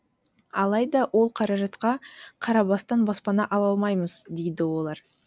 алайда ол қаражатқа қарабастан баспана ала алмаймыз дейді олар